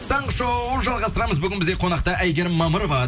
таңғы шоу жалғастырамыз бүгін бізде қонақта әйгерім мамырова